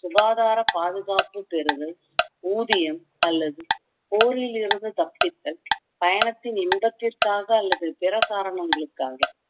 சுகாதார பாதுகாப்புப் பெறுதல் ஊதியம் அல்லது போரிலிருந்து தப்பித்தல் பயணத்தின் இன்பத்திற்காக அல்லது பிற காரணங்களுக்காக